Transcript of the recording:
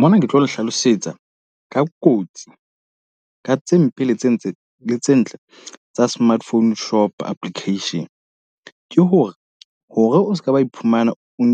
Mona ke tlo le hlalosetsa ka kotsi ka tse mpe le tse tse tse ntle tsa Smart Phone Shop Application. Ke ho re hore o seka wa iphumana o